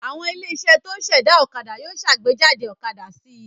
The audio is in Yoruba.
Àwọn ilé-iṣẹ́ tó ń ṣẹ̀dá ọ̀kadà yóò ṣàgbéjáde ọ̀kadà sí i.